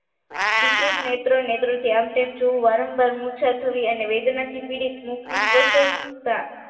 વિકૃત નેત્ર નેત્ર થી આમતેમ જોવું વારંવાર મૂર્છિત થવું અને વેદનાથી પીડિત મુખની સ્પષ્ટતા